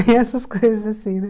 Tem essas coisas assim, né?